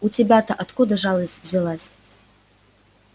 у тебя-то откуда жалость взялась